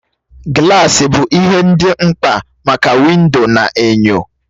Gilasi bụ ihe ndị mkpa maka windo na enyo